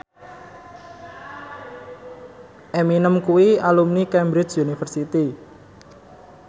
Eminem kuwi alumni Cambridge University